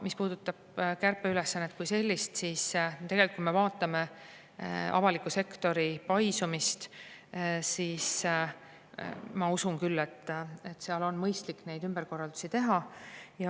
Mis puudutab kärpeülesannet kui sellist, siis tegelikult, kui me vaatame avaliku sektori paisumist, siis ma usun küll, et seal on mõistlik ümberkorraldusi teha.